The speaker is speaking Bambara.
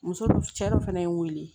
Muso cɛ dɔ fana ye n wele